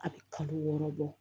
A bɛ kalo wɔɔrɔ bɔ